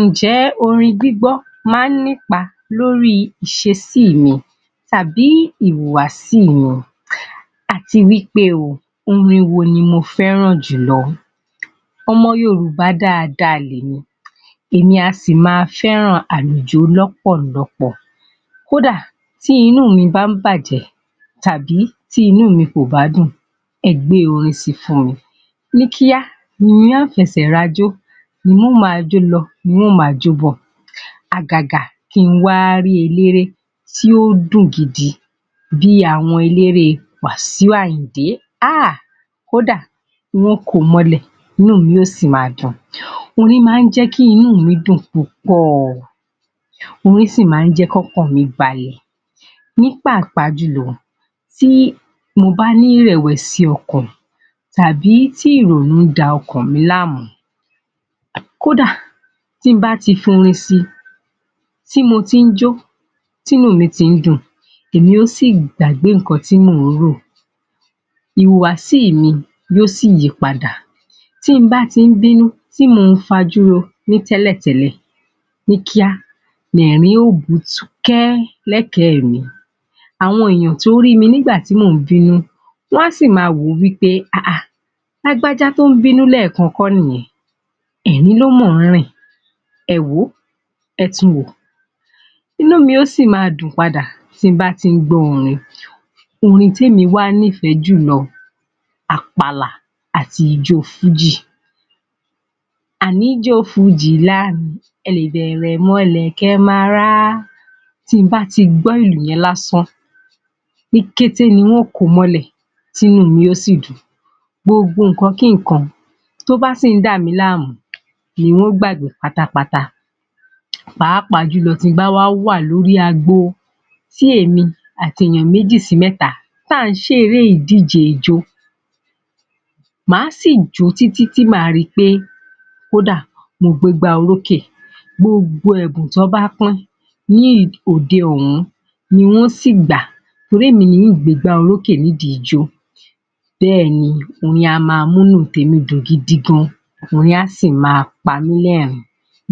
Ǹjẹ́ orin gbígbọ́ máa ń ní ipa lórí ìṣesí mi tàbí ìhùwàsí mi Àti wí pé ó, orin wo ni mo fẹ́ràn jùlọ? Ọmọ Yorùbá dáadáa lè mi, èmi á sì máa fẹ́ràn àjùló lọ́pọ̀lọpọ̀, Kódà tí inú mi bá ń bá jẹ́ tàbí tí inú mi kò bá dùn, ẹ gbé orin si fún-un mi, ní kíá n o fẹsẹ̀ rajó n ó máa jó lọ, n ó máa jó bọ̀, àgágá kí n wá rí eléré tí ó dùn gidi, bíi àwọn eléré Wasiu Àyìndé, Ah! Kódà n ó komọ́lẹ̀, inú mi ó sì máa dùn. Orin máa ń jẹ́ kí inú mi dùn púpọ̀, Orin sì máa ń jẹ́ kí ọkàn mi balẹ̀. Ní pàápàá jùlọ, tí mo bá ní ìrẹ̀wẹ̀sì ọkàn, tàbí tí ìrònú da ọkàn mi láàmú, kódà tí n bá ti forin sì, tí mo ti ń jó, tí inú mi tí ń dùn, èmi ó sì gbàgbé nnkan tí mò ń rò, ìhùwàsí mi yóó sì yí padà tí n bá ti ń bínú tí mo ń fajú ro ní tẹ́lẹ̀ tẹ́lẹ̀, Ní kíá lẹ̀rín yóó bọ̀ ọ́ ṣúkẹ́ lẹ́kẹ̀ẹ́ mì Àwọn èèyàn tó rí mi nígbà tí mò ń bínú wọ́n á sì máa wò wí pé, “Lágbájá tó ń bínú lẹ́ẹ̀kan kọ́ni yẹn, ẹ̀rín ló máa ń rín-in. Ẹ wò ó, Ẹ tun wò, inú mi yóó sì máa dùn padà tí n bá gbọ́ orin. Orin tí èmi wá nífẹ̀ẹ́ jùlọ, àpàlà àti ijó Fújì. À ní jo Fújì lárinrìn, Ẹ lè bẹ̀rẹ̀ mọ lè kẹ ma rá Tí n bá ti gbọ́ ìlù yẹn lásán, ní kété ni ó komọ́lẹ̀, tí inú mi yóó sì dùn. Gbogbo nǹkan kí nǹkan tó bá sì ń dá mi láàmú ni ó gbàgbé pátápátá.. Pàápàá tí n bá wà ní orí agbo, tí èmi àti èèyàn méjì, sí mẹ́ta tá ń ṣeré ìdíje ijó, máa sì jó tí tí tí, kódà máa rí pé mo gbàgbé orókè. Gbogbo ẹ̀bùn tọ́ bá pín-ín ní òde ọ̀hún ni n ó sì gbà, torí èmi ni ó gbàgbé orókè nídìí ijó. Bẹ́ẹ̀ni orin a máa mú inú tèmi dùn gidi gan-an, orin á sì máa pamílẹ̀rín,